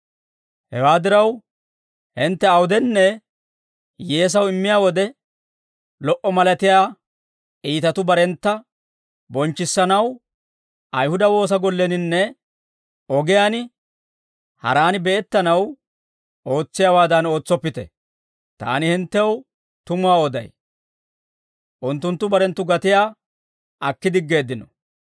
«Hewaa diraw, hintte awudenne hiyyeesaw immiyaa wode, lo"a malatiyaa iitatuu barentta bonchchissanaw, Ayihuda woosa golleninne ogiyaan haraani be'ettanaw ootsiyaawaadan ootsoppite; taani hinttew tumuwaa oday; unttunttu barenttu gatiyaa akki diggeeddino.